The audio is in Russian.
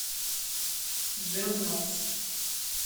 жирновск